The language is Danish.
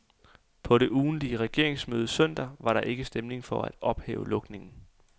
På det ugentlige regeringsmøde søndag var der ikke stemning for at ophæve lukningen.